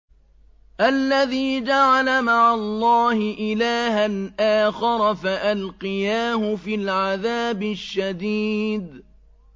الَّذِي جَعَلَ مَعَ اللَّهِ إِلَٰهًا آخَرَ فَأَلْقِيَاهُ فِي الْعَذَابِ الشَّدِيدِ